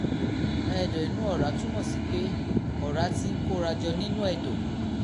ệdọ̀ inú ọ̀rá túmọ̀ sí pé ọ̀rá ti ń kóra jọ nínú ẹ̀dọ̀